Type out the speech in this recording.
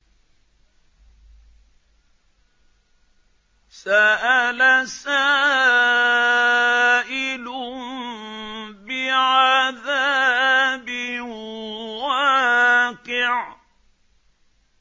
سَأَلَ سَائِلٌ بِعَذَابٍ وَاقِعٍ